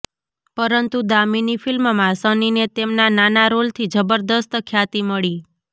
પરંતુ દામિની ફિલ્મમાં સનીને તેમના નાના રોલથી જબરદસ્ત ખ્યાતિ મળી